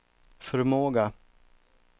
förmåga